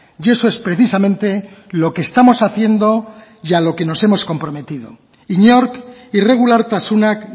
y eso es precisamente lo que estamos haciendo y a lo que nos hemos comprometido inork irregulartasunak